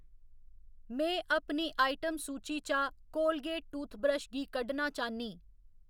में अपनी आइटम सूची चा कोलगेट टूथब्रश गी कड्ढना चाह्‌न्नीं